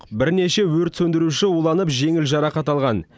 бірнеше өрт сөндіруші уланып жеңіл жарақат алған